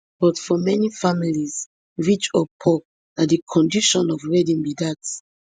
but for many families rich or poor na di condition of wedding be dat